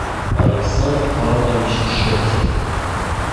александр павлович шехте